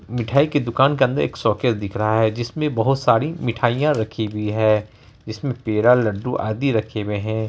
मिठाई की दुकान के अंदर एक शोकैस दिख रहा है जिसमे बोहोत सारी मिठाईया रखी हुई है जिसमे पेड़ा लड्डू आदि रखे हुए है।